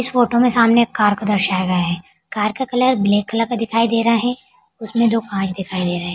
इस फोटो में सामने एक कार को दर्शाया गया है कार का कलर ब्लैक कलर का दिखाई दे रहा है उसमें दो कांच दिखाई दे रहे हैं।